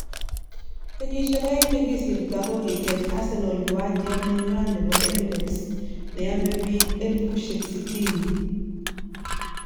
Kenyisiek aeng chekisirto kokitech arsenal kiwanjet neywan nebo Emirates ne ame biiik 60000